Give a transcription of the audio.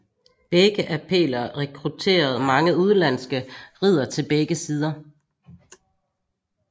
Begge appeller rekrutterede mange udenlandske riddere til begge sider